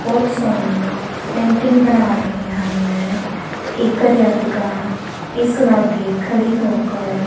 ਬਹੁਤ ਸੋਹਣੀ ਪੇਂਟਿੰਗ ਬਣਾ ਰਹੇ ਹਨ ਇਕ ਅਧਿਆਪਿਕਾ ਇਸ ਲਾਗੇ ਖੜੇ ਹੋ ਕਰ--